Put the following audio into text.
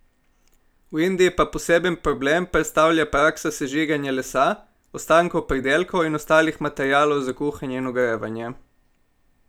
V Indiji pa poseben problem predstavlja praksa sežiganja lesa, ostankov pridelkov in ostalih materialov za kuhanje in ogrevanje.